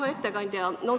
Hea ettekandja!